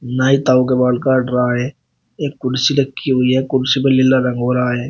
नाई ताऊ के बाल काट रहा है एक कुर्सी रखी हुई है कुर्सी पर लीला रंग हो रहा है।